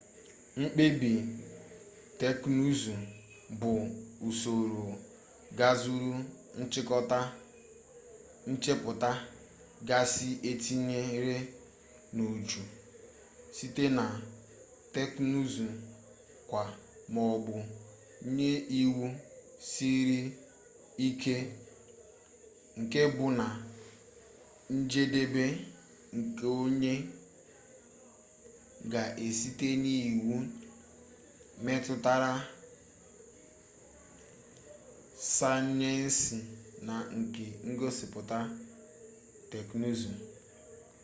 mkpebi teknụụzụ bụ usoro gazuru nchịkọta nchepụta gasị etinyere n'uju site na technụụzụ-kwaa maọbụ nye iwu siri ike nke bụ na njedebe nke onye ga-esite n'iwu metụtara sayensi na nke ngosipụta teknụụzụ